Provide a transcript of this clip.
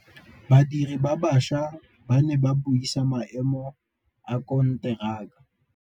Badiri ba baša ba ne ba buisa maêmô a konteraka.